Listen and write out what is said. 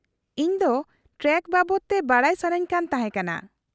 -ᱤᱧ ᱫᱚ ᱴᱨᱮᱠᱴᱟᱨ ᱵᱟᱵᱚᱫ ᱛᱮ ᱵᱟᱰᱟᱭ ᱥᱟᱹᱱᱟᱹᱧ ᱠᱟᱱ ᱛᱟᱦᱮᱸ ᱠᱟᱱᱟ ᱾